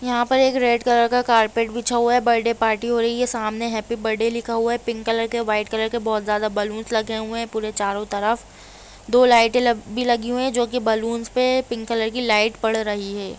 यहाँ पे एक रेड कलर का कारपेट बिछा हुआ है बर्थडे पार्टी हो रही है सामने हैप्पी बर्थडे लिखा हुआ है पिंक कलर का वाइट कलर के बहुत ज्यादा बलून्स लगे हुए है पूरे चारो तरफ दो लाइटें ल भी लगी हुई है जो की बलून्स पे पिंक कलर की लाइट पढ़ रही है।